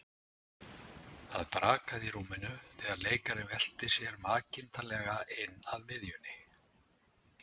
Það brakaði í rúminu þegar leikarinn velti sér makindalega inn að miðjunni.